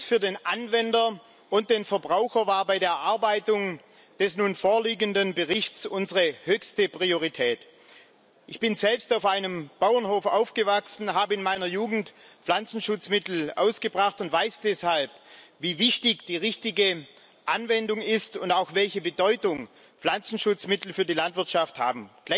Schutz für den Anwender und den Verbraucher war bei der Erarbeitung des nun vorliegenden Berichts unsere höchste Priorität. Ich bin selbst auf einem Bauernhof aufgewachsen, habe in meiner Jugend Pflanzenschutzmittel ausgebracht und weiß deshalb, wie wichtig die richtige Anwendung ist und auch welche Bedeutung Pflanzenschutzmittel für die Landwirtschaft haben.